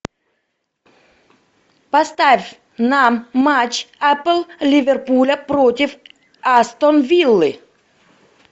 поставь нам матч апл ливерпуля против астон виллы